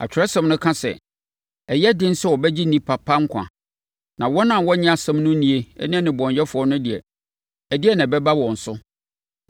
Atwerɛsɛm no ka sɛ, “Ɛyɛ den sɛ wɔbɛgye onipa pa nkwa; na wɔn a wɔnnye asɛm no nni ne nnebɔneyɛfoɔ no deɛ, ɛdeɛn na ɛbɛba wɔn so?”